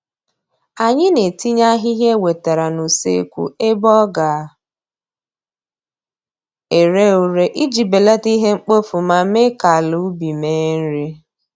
Anyị na-etinye ahịhịa e wetere n'useekwu ebe ọ ga ere ure iji belata ihe mkpofu ma mee ka ala ubi mee nri